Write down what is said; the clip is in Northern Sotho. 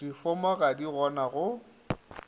difomo ga di gona go